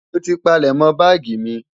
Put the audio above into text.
Mo ti palẹ̀mọ́ báàgì mi.